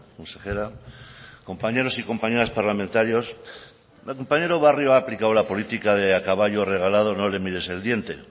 consejera compañeros y compañeras parlamentarios el compañero barrio ha aplicado la política de a caballo regalado no le mires el diente